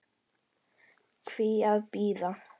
Hví að bíða?